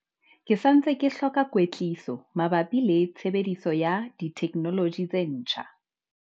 Ke sa ntse ke hloka kwetliso mabapi le tshebediso ya ditheknoloji tse ntjha.